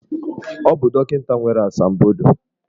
Ọ bụ dọkịta nwere asambodo.